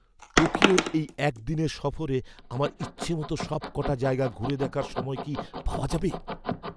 টোকিওর এই একদিনের সফরে আমার ইচ্ছামতো সবকটা জায়গা ঘুরে দেখার সময় কি পাওয়া যাবে?